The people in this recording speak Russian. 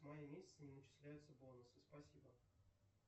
с мая месяца не начисляются бонусы спасибо